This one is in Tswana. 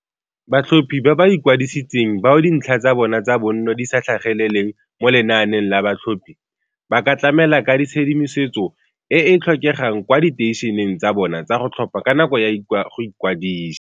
Batlhophi ba ba ikwadisitseng bao dintlha tsa bona tsa bonno di sa tlhageleleng mo lenaaneng la batlhophi, ba ka tlamela ka tshedimosetso e e tlhokegang kwa diteišeneng tsa bona tsa go tlhopha ka nako ya go ikwadisa.